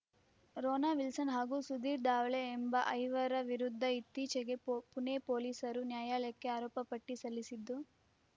ರೋನಾ ವಿಲ್ಸನ್‌ ಹಾಗೂ ಸುಧೀರ್‌ ಧಾವಳೆ ಎಂಬ ಐವರ ವಿರುದ್ಧ ಇತ್ತೀಚೆಗೆ ಪೋ ಪುಣೆ ಪೊಲೀಸರು ನ್ಯಾಯಾಲಯಕ್ಕೆ ಆರೋಪ ಪಟ್ಟಿಸಲ್ಲಿಸಿದ್ದು